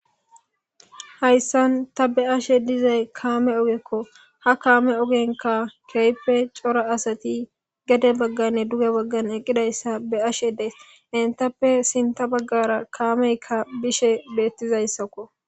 Hayssan ta be'ashe dizay kaame ogekko ha kaame ogenka keyppe cora asati gede bagganne duge baggan eqqidayssa be ashe dees intappe sinta baggara kaameykka bishe beettizayssakko.